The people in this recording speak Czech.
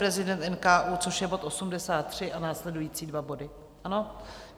Viceprezident NKÚ, což je bod 83, a následující dva body, ano?